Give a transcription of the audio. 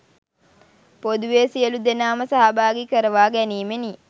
පොදුවේ සියලු දෙනාම සහභාගි කරවා ගැනීමෙනි.